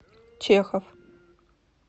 чехов